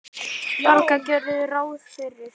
Braga gerðu ráð fyrir.